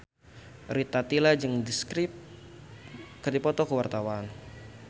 Rita Tila jeung The Script keur dipoto ku wartawan